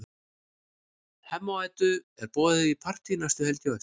Hemma og Eddu er boðið í partí næstu helgi á eftir.